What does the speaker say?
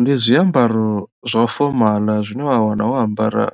Ndi zwiambaro zwa fomaḽa zwine wa wana wo ambara